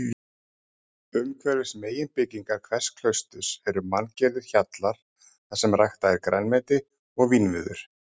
Umhverfis meginbyggingar hvers klausturs eru manngerðir hjallar þarsem ræktað er grænmeti og vínviður.